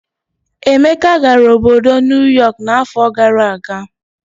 Emeka gara obodo Nuyọk n'afọ gara aga.